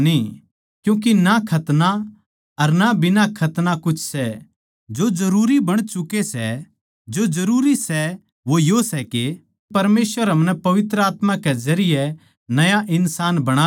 क्यूँके ना खतना अर ना बिना खतना कुछ सै जो जरूरी बण चुके सै जो जरूरी सै वो यो सै के परमेसवर हमनै पवित्र आत्मा के जरिये नया इन्सान बणा दे